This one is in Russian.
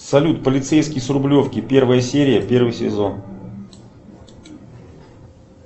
салют полицейский с рублевки первая серия первый сезон